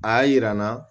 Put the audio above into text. A y'a yira n na